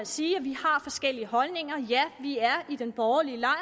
sige at vi har forskellige holdninger ja vi er i den borgerlige lejr